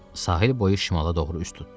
Sahil boyu şimala doğru üz tutdu.